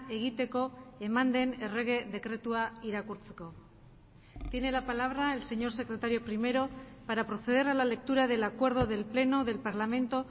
egiteko eman den errege dekretua irakurtzeko tiene la palabra el señor secretario primero para proceder a la lectura del acuerdo del pleno del parlamento